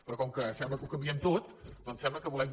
però com que sembla que ho canviem tot doncs sembla que volem